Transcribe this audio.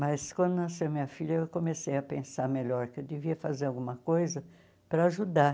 Mas quando nasceu minha filha, eu comecei a pensar melhor que eu devia fazer alguma coisa para ajudar.